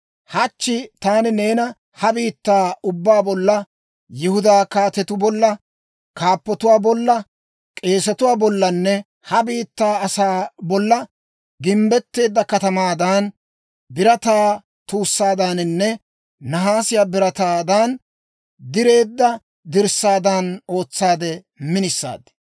Hachchi taani neena ha biittaa ubbaa bolla, Yihudaa kaatetuu bolla, kaappotuwaa bolla, k'eesetuwaa bollanne ha biittaa asaa bolla gimbbetteedda katamaadan, birataa tuussaadaaninne nahaasiyaa birataan direedda dirssaadan ootsaade minisaad.